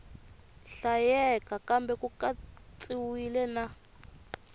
hlayeka kambe ku katsiwile na